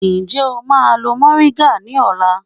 Ṣé o má a lo mòríńgà ní ọ̀la?